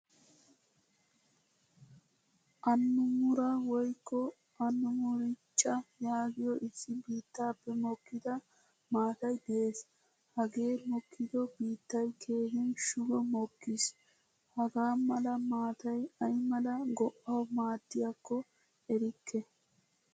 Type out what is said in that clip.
Annamura woykko annamurichcha yaagiyo issi biittappe mokkida maatay de'ees. Hagee mokkido biittay keehin shuggo mokkiis. Hagaa mala maataay ayamala go'awu maaddiyakko erikke.